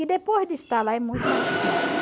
E depois de estar lá é muito mais difícil.